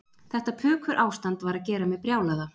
Þetta pukurástand var að gera mig brjálaða